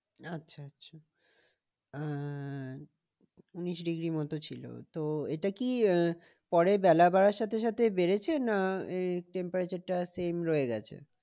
আচ্ছা আচ্ছা আহ উনিশ degree মতো ছিল। তো এটা কি আহ পরে বেলা বাড়ার সাথে সাথে বেড়েছে না এই temperature টা same রয়ে গেছে?